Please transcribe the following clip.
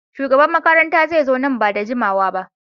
Shugaban makaranta zai zo nan ba da jimawa ba.